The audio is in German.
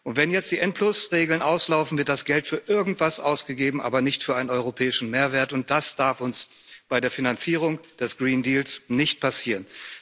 Und wenn jetzt die N Regeln auslaufen, wird das Geld für irgendwas ausgegeben, aber nicht für einen europäischen Mehrwert, und das darf uns bei der Finanzierung des Green Deal nicht passieren.